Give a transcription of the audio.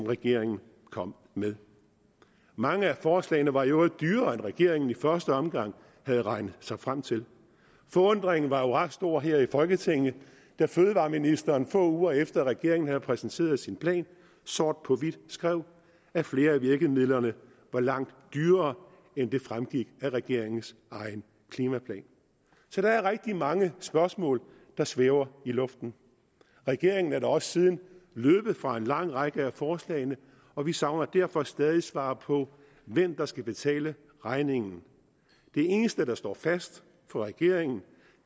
regeringen kom med mange af forslagene var i øvrigt dyrere end regeringen i første omgang havde regnet sig frem til forundringen var jo ret stor her i folketinget da fødevareministeren få uger efter at regeringen havde præsenteret sin plan sort på hvidt skrev at flere af virkemidlerne var langt dyrere end det fremgik af regeringens egen klimaplan så der er rigtig mange spørgsmål der svæver i luften regeringen er da også siden løbet fra en lang række af forslagene og vi savner derfor stadig svar på hvem der skal betale regningen det eneste der står fast for regeringen